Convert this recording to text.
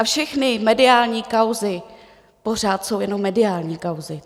A všechny mediální kauzy pořád jsou jenom mediální kauzy.